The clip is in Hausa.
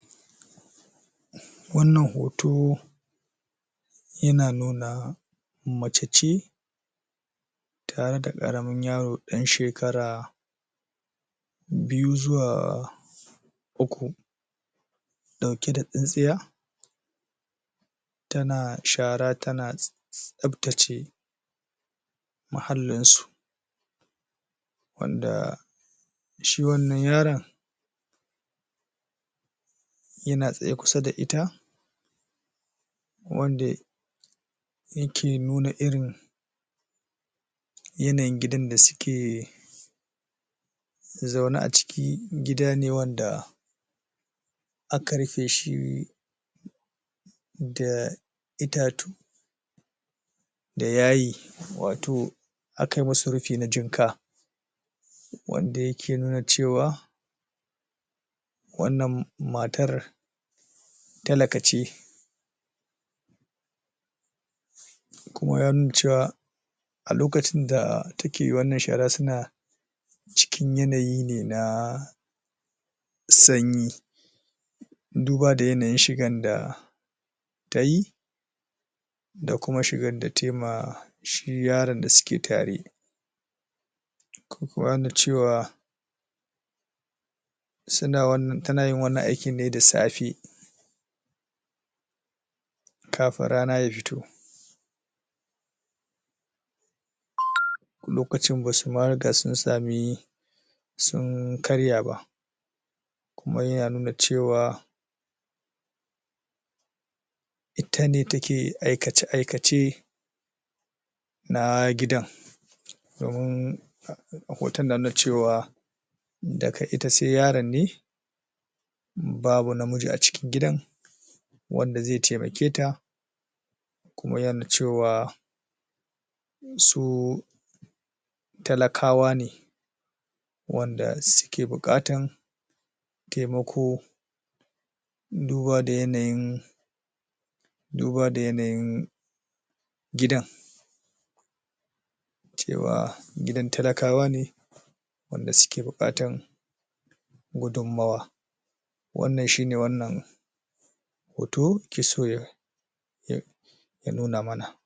wannan hoto yana nuna mace ce tare da ƙaramin yaro ɗan shekara biyu zuwa uku ɗauke da tsintsiya tana shara tana tsaftace muhallinsu wanda shi wannan yaran yana tsaye kusa da ita wande yake nuna irin yanayin gidan da suke zaune ciki gida ne wanda aka rufeshi da itatu da yayi wato akai musu rufi na jibga wanda yake nuna cewa wannan matar takala ce kuma ya nuna cewa a lokacin da take wannan shara suna cikin yanayi ne na sanyi duba da yanayin shigan da tayi da kuma shigan da taima shi yaran da suke tare tanayin wannan aikin ne da safe kafin rana ya fito lokacin basuma riga sun sami sun karya ba kuma yana nuna cewa itane take aikace aikace na gidan domin a hotan nan na cewa daga ita sai yaran ne babu namiji a cikin gidan wanda zai taimaketa kuma ya nuna cewa su talakawa ne wanda suke buƙatan taimaƙo duba da yanayin gidan cewa gidan talakawa ne wanda suke buƙatan gudun nawa wannan shine wannan hoto yakeso ya ya nuna mana